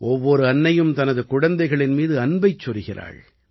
ஒவ்வொரு அன்னையும் தனது குழந்தைகளின் மீது அன்பைச் சொரிகிறாள்